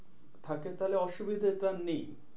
থাকে তাহলে অসুবিধা টা নেই।